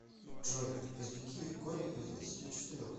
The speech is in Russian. джой извлеки корень из двадцати четырех